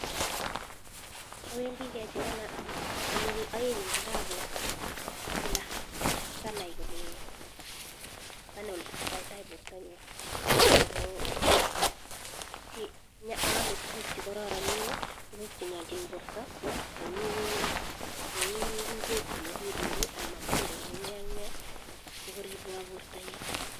Owendii kechekenan konyil oeng en arawet kila sanai kole sanai oletesoto tai bortonyun ako ome tukuk chekororonen tukuk chenyoljin borto cheu, cheu ikwek chenyolilen ak matundek ak nee ak nee sikoribwon bortonyun.